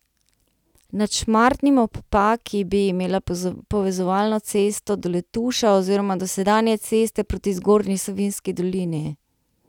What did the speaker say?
Nad Šmartnim ob Paki bi imela povezovalno cesto do Letuša oziroma do sedanje ceste proti Zgornji Savinjski dolini.